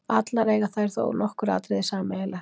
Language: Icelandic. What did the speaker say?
Allar eiga þær þó nokkur atriði sameiginleg.